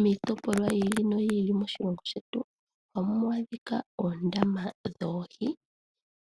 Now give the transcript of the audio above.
Miitopolwa yiili noyili moshilongo shetu ohamu adhika oondama dhoohi,